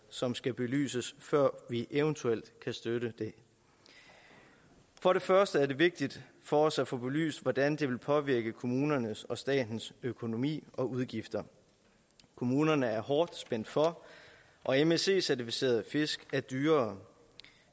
som skal belyses før vi eventuelt kan støtte det for det første er det vigtigt for os at få belyst hvordan det vil påvirke kommunernes og statens økonomi og udgifter kommunerne er hårdt spændt for og msc certificerede fisk er dyrere